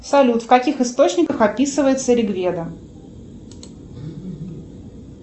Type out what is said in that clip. салют в каких источниках описывается ригведа